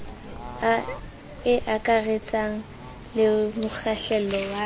e akaretsang le mokgahlelo wa